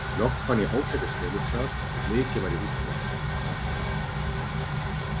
Loks fann ég ágætis felustað og mikið var ég útsmogin, fannst mér.